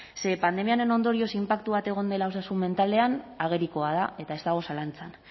pandemiaren ondorioz inpaktu bat egon dela osasun mentalean agerikoa da eta ez dago zalantzan